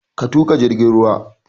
Ka tuƙa jirgin ruwan!